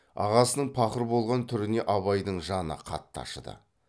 ағасының пақыр болған түріне абайдың жаны қатты ашыды